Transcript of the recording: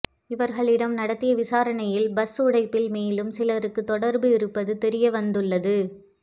இவர்களிடம் நடத்திய விசாரணையில் பஸ் உடைப்பில் மேலும் சிலருக்கு தொடர்பு இருப்பது தெரிய வந்துள்ளது